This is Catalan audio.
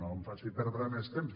no em faci perdre més temps